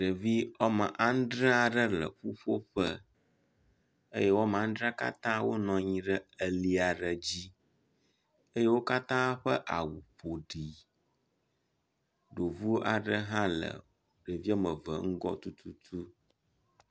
Ɖevi wome adre le ƒuƒoƒe eye wome ame adrea katã wonɔ anyi ɖe li aɖe dzi eye wo katã ƒe awu ƒo ɖi, ɖovu aɖe hã le ɖevi eve ŋgɔ tututu